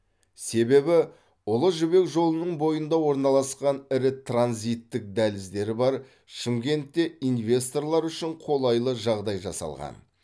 себебі ұлы жібек жолының бойында орналасқан ірі транзиттік дәліздері бар шымкентте инвесторлар үшін қолайлы жағдай жасалған